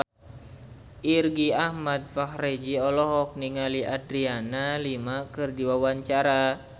Irgi Ahmad Fahrezi olohok ningali Adriana Lima keur diwawancara